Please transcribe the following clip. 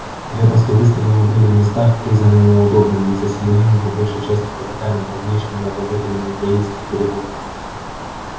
крепости выстроены были в местах признанных удобными и заселены по большей части казаками давнишними обладателями яицких берегов